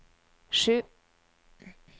sju